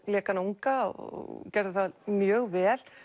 lék hana unga og gerði það mjög vel